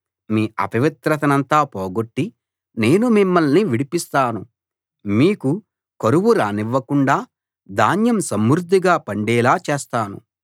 మీ అపవిత్రనంతా పోగొట్టి నేను మిమ్మల్ని విడిపిస్తాను మీకు కరువు రానివ్వకుండా ధాన్యం సమృద్ధిగా పండేలా చేస్తాను